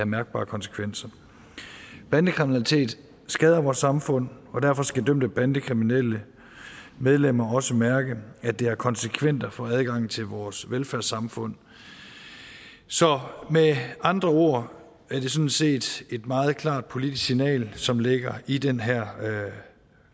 mærkbare konsekvenser bandekriminalitet skader vores samfund og derfor skal de dømte bandekriminelle medlemmer også mærke at det har konsekvenser for adgangen til vores velfærdssamfund så med andre ord er det sådan set et meget klart politisk signal som ligger i den her